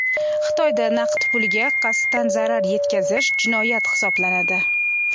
Xitoyda naqd pulga qasddan zarar yetkazish jinoyat hisoblanadi.